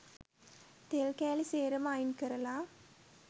තෙල් කෑලි සේරම අයින් කරලා